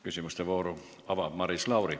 Küsimuste vooru avab Maris Lauri.